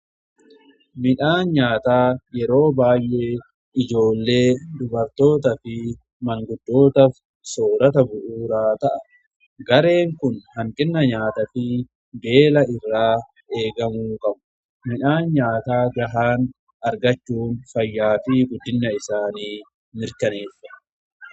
Midhaan nyaata yeroo baay'ee ijoollee dubartoota fi manguddootaf soorata bu'uuraa ta'a. Gareen kun hanqina nyaataa fi beela irraa eegamu qabu. Midhaan nyaata gahaa argachuun fayyaafi guddinna isaanii mirkaneessa.